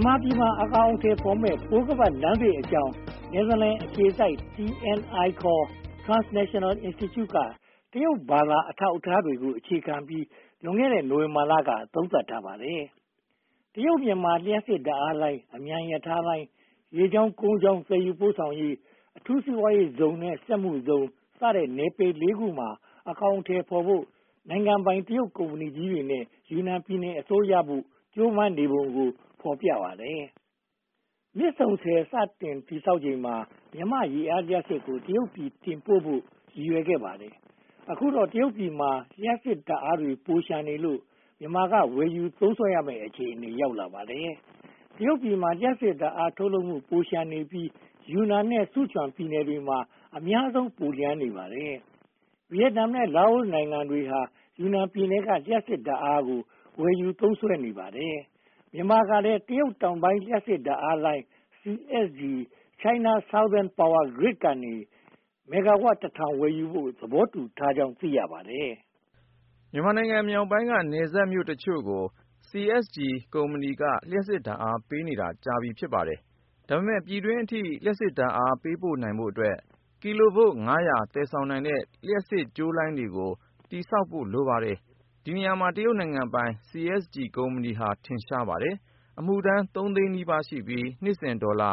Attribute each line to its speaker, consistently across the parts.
Speaker 1: န်မာပြည်မှာ အကောင်အထည်ဖော်မယ့် ပိုးခါးပတ်လမ်းသစ်အကြောင်း နယ်သာလန်အခြေစိုက် TNI Transnational Institute က တရုတ်ဘာသာ အထောက်အထားတွေကို အခြေခံပြီး လွန်ခဲ့တဲ့ နိုဝင်ဘာလက သုံးသပ်ထားပါတယ်။ တရုတ်-မြန်မာ လျှပ်စစ်ဓါတ်အားလိုင်း၊ အမြန်ရထားလမ်း၊ ရေကြောင်း-ကုန်ကြောင်း သယ်ယူပို့ဆောင်ရေး၊ အထူးစီးပွားရေးဇုန်နဲ့ စက်မှုဇုန် စတဲ့ နယ်ပယ် ခုမှာ အကောင်အထည်ဖော်ဖို့ နိုင်ငံပိုင်တရုတ်ကုမ္ပဏီကြီးတွေနဲ့ ယူနန်ပြည်နယ်အစိုးရတို့ ကြိုပမ်းပုံကို ဖော်ပြထားပါတယ်။ မြစ်ဆုံဆည် စတင်တည်ဆောက်ချိန်က မြန်မာ့ရေအားလျှပ်စစ်ကို တရုတ်ပြည် တင်ပို့ဖို့ ရည်ရွယ်ခဲ့ပါတယ်။ အခုတော့ တရုတ်ပြည်မှာ လျှပ်စစ်ဓါတ်အားတွေ ပိုလျှံနေလို့ မြန်မာက ဝယ်ယူသုံးစွဲရမယ့် အခြေအနေ ရောက်လာပါတယ်။ တရုတ်ပြည်မှာ လျှပ်စစ်ဓါတ်အား ထုတ်လုပ်မှု ပိုလျှံနေပြီး ယူနန်နဲ့ ဆုချွမ်ပြည်နယ်တွေမှာ အများဆုံး ပိုလျှံနေပါတယ်။ ဗိယက်နမ်နဲ့ လာအိုနိုင်ငံတွေဟာ ယူနန်ပြည်နယ်က လျှပ်စစ်ဓါတ်အား ဝယ်ယူနေပါတယ်။ မြန်မာကလည်း တရုတ်တောင်ပိုင်း လျှပ်စစ်ဓါတ်အားလိုင်း CSGChina Southern Power Grid ကနေ မဂ္ဂါဝပ် ဝယ်ယူဖို့ သဘောတူထားကြောင်း သိရပါတယ်
Speaker 2: ။ မြန်မာပြည်မြောက်ပိုင်းက နယ်စပ်မြို့အချို့ကို CSG ကုမ္ပဏီက လျှပ်စစ်ဓါတ်အားပေးနေတာ ကြာပြီဖြစ်ပါတယ်။ ဒါပေမဲ့ ပြည်တွင်းအထိ လျှပ်စစ်ဓါတ်အား ပို့ပေးနိုင်ဖို့အတွက် ကီလိုဗို့ သယ်ဆောင်နိုင်တဲ့ လျှပ်စစ်ကြိုးလိုင်းတွေကို တည်ဆောက်ဖို့ လိုပါတယ်။ ဒီနေရာမှာ တရုတ်နိုင်ငံပိုင် CSG ကုမ္ပဏီဟာ ထင်ရှားပါတယ်။ အမှုထမ်း သိန်းနီးပါးရှိပြီး နှစ်စဉ်ဒေါ်လာ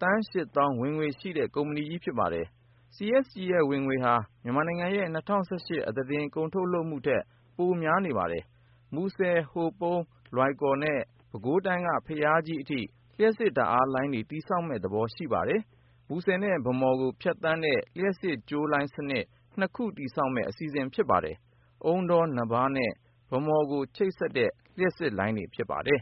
Speaker 2: သန်း သောင်း ဝင်ငွေရှိတဲ့ ကုမ္ပဏီကြီး ဖြစ်ပါတယ်။ CSG ရဲ့ ဝင်ငွေဟာ မြန်မာပြည်ရဲ့ ၂၀၁၈ အသားတင်ထုတ်လုပ်မှုထက် ပိုများပါတယ်။ မူဆယ်၊ ဟိုပုံ၊ လွိုင်ကော်နဲ့ ပဲခူးတိုင်းက ဘုရားကြီးအထိ လျှပ်စစ်လိုင်းတွေ တည်ဆောက်မယ့်သဘော ရှိပါတယ်။ မူဆယ်နဲ့ ဗန်းမော်ကို ဖြတ်သန်းတဲ့ လျှပ်စစ်ကြိုးလိုင်းစနစ် ခု တည်ဆောက်မယ့် အစီအစဉ် ဖြစ်ပါတယ်။ အုန်းတော၊ နဘား နဲ့ ဗန်းမော်တို့ကို ချိတ်ဆက်တဲ့ လျှပ်စစ်လိုင်း ဖြစ်ပါတယ်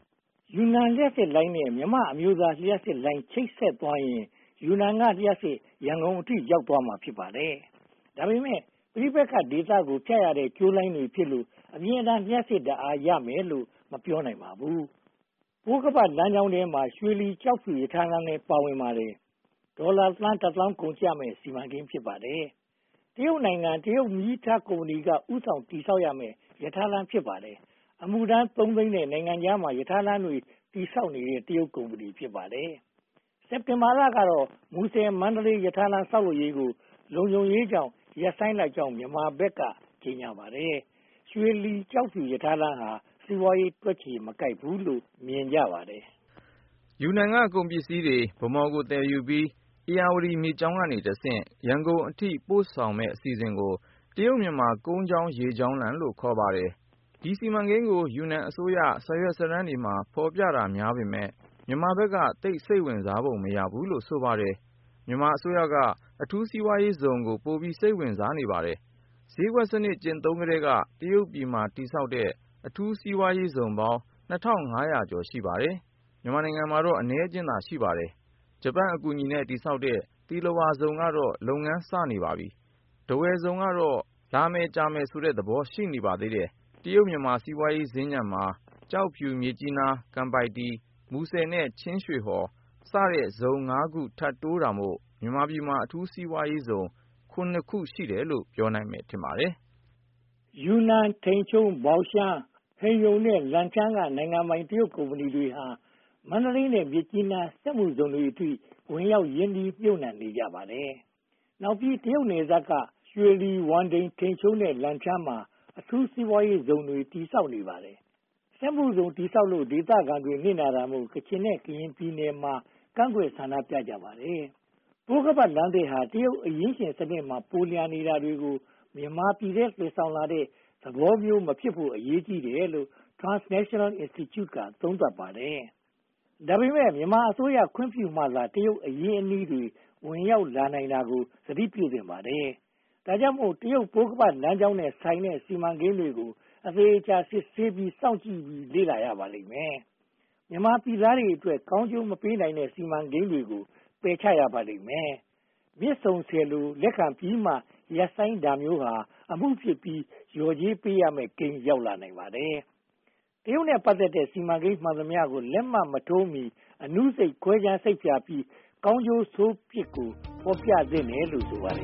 Speaker 1: ။ ယူနန်လျှပ်စစ်လိုင်းနဲ့ မြန်မာအမျိုးသားလျှပ်စစ်လိုင်း ချိတ်ဆက်သွားရင် ယူနန်ကလျှပ်စစ် ရန်ကုန်အထိ ရောက်သွားမှာ ဖြစ်ပါတယ်။ ဒါပေမဲ့ ပဋိပက္ခဒေသတွေကို ဖြတ်ရတဲ့ ကြိုးလိုင်းတွေဖြစ်လို့ အမြဲတမ်းလျှပ်စစ်ဓါတ်အား ရမယ်လို့ မပြောနိုင်ပါဘူး။ ပိုးခါးပတ်လမ်းကြောင်းထဲမှာ ရွှေလီ၊ ကျောက်ဖြူ ရထားလမ်းလည်း ပါဝင်ပါတယ်။ ဒေါ်လာသန်းတစ်သောင်း ကုန်ကျမယ့် စီမံကိန်း ဖြစ်ပါတယ်။ နိုင်ငံပိုင် တရုတ်မီးရထား ကုမ္ပဏီက ဦးဆောင်တည်ဆောက်မယ့် ရထားလမ်း ဖြစ်ပါတယ်။ အမှုထမ်း သုံးသိန်းနဲ့ နိုင်ငံခြားမှာ ရထားလမ်းတွေ တည်ဆောက်နေတဲ့ တရုတ်ကုမ္ပဏီ ဖြစ်ပါတယ်။ စက်တင်ဘာလကတော့ မူဆယ်-မန္တလေး ရထားလမ်း ဆောက်လုပ်ရေးကို လုံခြုံရေးကြောင့် ရပ်ဆိုင်းလိုက်ကြောင်း မြန်မာဘက်က ကြေညာပါတယ်။ ရွှေလီ-ကျောက်ဖြူ ရထားလမ်းဟာ စီးပွားရေး တွက်ချေမကိုက်ဘူးလို့ မြင်ကြပါတယ်
Speaker 2: ။ ယူနန်က ကုန်ပစ္စည်းတွေ ဗန်းမော်ကို သယ်ယူပြီး ဧရာဝတီမြစ်ကြောင်းကတဆင့် ရန်ကုန်အထိ ပို့ဆောင်မယ့် အစီအစဉ်ကို “တရုတ်-မြန်မာ ကုန်ကြောင်း၊ ရေကြောင်းလမ်း” လို့ ခေါ်ပါတယ်။ ဒီ စီမံကိန်းကို ယူနန်အစိုးရ စာရွက်စာတမ်းတွေမှာ ဖော်ပြတာများပေမယ့် မြန်မာဘက်က သိပ်စိတ်ဝင်စားပုံ မရဘူးလို့ ဆိုပါတယ်။ မြန်မာအစိုးရက အထူးစီးပွားရေးဇုန်ကို ပိုပြီးစိတ်ဝင်စားပါတယ်။ ဈေးကွက်စနစ် ကျင့်သုံးကတည်းက တရုတ်ပြည်မှာ တည်ဆောက်ထားတဲ့ အထူးစီးပွားရေးဇုန်ပေါင်း ရှိပါတယ်။ မြန်မာနိုင်ငံမှာတော့ အနည်းအကျဉ်းသာ ရှိပါတယ်။ ဂျပန်အကူအညီနဲ့ တည်ဆောက်ခဲ့တဲ့ သီလဝါဇုန်ကတော့ လုပ်ငန်းစနေပါပြီ။ ထားဝယ်ဇုန်ကတော့ လာမယ်ကြာမယ်ဆိုတဲ့ သဘောပဲ ရှိပါသေးတယ်။ တရုတ်-မြန်မာ စီးပွားရေးစင်္ကြ ံမှာ ကျောက်ဖြူ၊ မြစ်ကြီးနား၊ ကန်ပိုက်တီ၊ မူဆယ်နဲ့ ချင်းရွှေဟော် ဆိုတဲ့ ဇုန် ခု ထပ်တိုးတာမို့ မြန်မာပြည်မှာ အထူးစီးပွားရေးဇုန် ခု ရှိတယ်လို့ ပြောနိုင်မယ် ထင်ပါတယ်။ ယူနန်
Speaker 1: ၊ ထိန်ချုံး၊ ဘောင်ရှန်း၊ ဟိန်ရုန်နဲ့ လန်ချန်းက နိုင်ငံပိုင် တရုတ်ကုမ္ပဏီတွေဟာ မန္တလေးနဲ့ မြစ်ကြီးနား စက်မှုဇုန်တွေအထိ ဝင်ရောက်ရင်းနှီးမြုပ်နံှနေကြပါတယ်။ နောက်ပြီး တရုတ်နယ်စပ်က ရွှေလီ၊ ဝမ်ဒိန်၊ ထိန်ချုံးနဲ့ လန်ချန်းမှာ အထူးစီးပွားရေးဇုန်တွေ တည်ဆောက်နေပါတယ်။ စက်မှုဇုန် တည်ဆောက်လို့ ဒေသခံတွေ နစ်နာတာမို့ ကချင်နဲ့ ကရင်ပြည်နယ်တွေမှာ ကန့်ကွက်ဆန္ဒပြကြပါတယ်။ ပိုးခါးပတ်လမ်းသစ်ဟာ တရုတ်အရင်းရှင်စနစ်မှာ ပိုလျှံနေတာတွေကို မြန်မာပြည်ထဲ သယ်ဆောင်လာတဲ့ သဘောမျိုးမဖြစ်ဖို့ အရေးကြီးတယ်လို့ Transnational Institute က သုံးသပ်ပါတယ်။ ဒါပေမဲ့ မြန်မာအစိုးရ ခွင့်ပြုမှသာ တရုတ်အရင်းအနှီးတွေ ဝင်ရောက်လာနိုင်တာကို သတိပြုသင့်ပါတယ်။ ဒါကြောင့်မို့ တရုတ်ပိုးခါးပတ်လမ်းကြောင်းနဲ့ဆိုင်တဲ့ စီမံကိန်းတွေကို အသေအချာ ဆန်းစစ်စောင့်ကြည့် လေ့လာရပါလိမ့်မယ်။ မြန်မာပြည်သားတွေအတွက် ကောင်းကျိုးမပေးနိုင်တဲ့ စီမံကိန်းတွေကို ပယ်ချရပါလိမ့်မယ်။ မြစ်ဆုံဆည်လို လက်ခံပြီးမှ ရပ်ဆိုင်းတာမျိုးဟာ အမှုဖြစ်ပြီး လျှော်ကြေးပေးရမယ့်ကိန်း ရောက်လာနိုင်ပါတယ်။ တရုတ်နဲ့ ပတ်သက်တဲ့ စီမံကိန်းမှန်သမျှကို လက်မှတ်မထိုးမီ အနုစိတ်ခွဲခြားစိတ်ဖြာပြီး ကောင်းကျိုးဆိုးပြစ်ကို ဖော်ပြသင့်တယ်လို့ ဆိုပါတယ